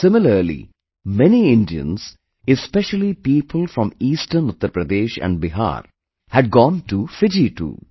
Similarly, many Indians, especially people from eastern Uttar Pradesh and Bihar, had gone to Fiji too